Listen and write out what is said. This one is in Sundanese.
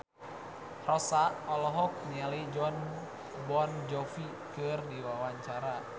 Rossa olohok ningali Jon Bon Jovi keur diwawancara